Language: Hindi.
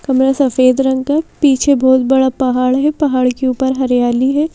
कमरा सफेद रंग का पीछे बहुत बड़ा पहाड़ है पहाड़ के ऊपर हरियाली है।